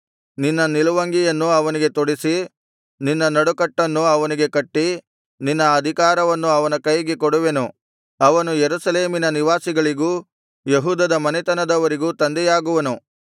ನಿನ್ನ ನಿಲುವಂಗಿಯನ್ನು ಅವನಿಗೆ ತೊಡಿಸಿ ನಿನ್ನ ನಡುಕಟ್ಟನ್ನು ಅವನಿಗೆ ಕಟ್ಟಿ ನಿನ್ನ ಅಧಿಕಾರವನ್ನು ಅವನ ಕೈಗೆ ಕೊಡುವೆನು ಅವನು ಯೆರೂಸಲೇಮಿನ ನಿವಾಸಿಗಳಿಗೂ ಯೆಹೂದದ ಮನೆತನದವರಿಗೂ ತಂದೆಯಾಗುವನು